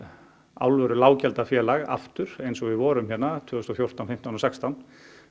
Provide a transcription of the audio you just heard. alvöru aftur eins og við vorum tvö þúsund og fjórtán fimmtán og sextán